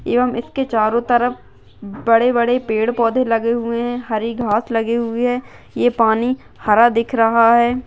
एवं इसके चारों तरफ बड़े-बड़े पेड़ पौधे लगे हुए है हरी घास लगी हुई है ये पानी हरा दिख रहा है।